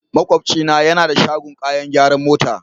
Makwabcina yana da shagon kayan gyaran mota.